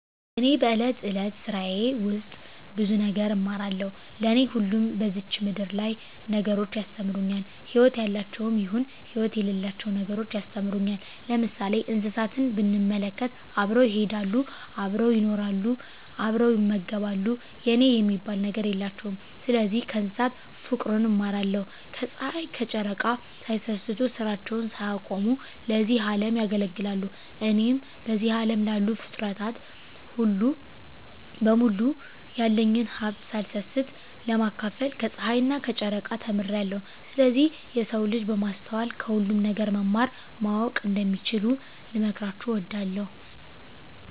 እኔ በእለት እለት ስራየ ውስጥ ብዙ ነገር እማራለሁ። ለኔ ሁሉም በዝች ምድር ያሉ ነገሮች ያስተምሩኛል ህይወት ያላቸውም ይሁን ህይወት የሌላቸው ነገሮች ያስተምሩኛል። ለምሳሌ እንስሳትን ብንመለከት አብረው ይሄዳሉ አብረው ይኖራሉ አብረው ይመገባሉ የኔ የሚባል ነገር የላቸውም ስለዚህ ከእንስሳት ፉቅርን እማራለሁ። ከጽሀይ ከጨረቃ ሳይሰስቱ ስራቸውን ሳያቆሙ ለዚህ አለም ያገለግላሉ። እኔም በዚህ አለም ላሉ ፉጥረታት በሙሉ ያለኝን ሀብት ሳልሰስት ለማካፈል ከጸሀይና ከጨረቃ ተምሬአለሁ። ስለዚህ የሰው ልጅ በማስተዋል ከሁሉም ነገር መማር ማወቅ እንደሚችሉ ልመክራቸው እወዳለሁ።